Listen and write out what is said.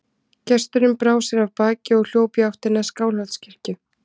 Gesturinn brá sér af baki og hljóp í áttina að Skálholtskirkju.